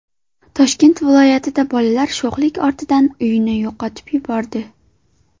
Toshkent viloyatida bolalar sho‘xlik ortidan uyni yoqib yubordi.